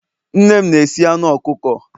nne m na-esi anu ọkụkọ